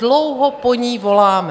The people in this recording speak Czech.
Dlouho po ní voláme.